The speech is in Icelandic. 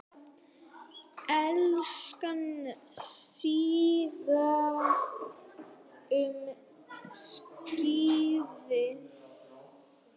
Íslensk síða um skíði